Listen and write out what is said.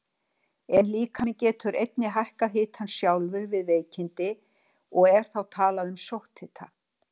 En líkaminn getur einnig hækkað hitann sjálfur við veikindi og er þá talað um sótthita.